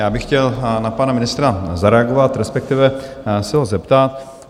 Já bych chtěl na pana ministra zareagovat, respektive se ho zeptat.